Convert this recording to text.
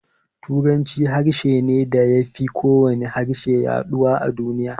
Turanci harshe ne da ya fi kowane harshe yaduwa a duniya.